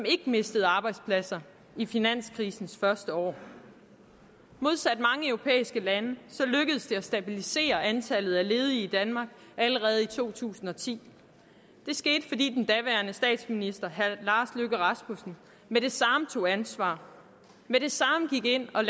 ikke mistede arbejdspladser i finanskrisens første år modsat mange europæiske lande lykkedes det at stabilisere antallet af ledige i danmark allerede i to tusind og ti det skete fordi den daværende statsminister herre lars løkke rasmussen med det samme tog ansvar med det samme gik ind og